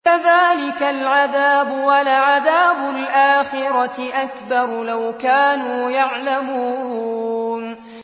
كَذَٰلِكَ الْعَذَابُ ۖ وَلَعَذَابُ الْآخِرَةِ أَكْبَرُ ۚ لَوْ كَانُوا يَعْلَمُونَ